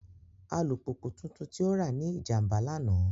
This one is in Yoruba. Alupupu tuntun ti o ra ni ijamba lana.